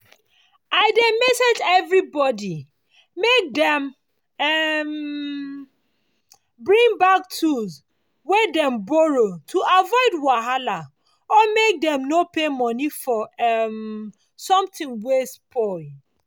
i dey message everibodi make dem um bring back tools wey dem borrow to avoid wahala or make dem no pay moni for um somehting wey spoil.